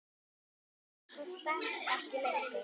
Áætlun okkar stenst ekki lengur.